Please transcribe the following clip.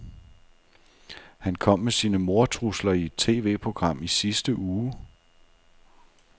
Han kom med sine mordtrusler i et TVprogram i sidste uge.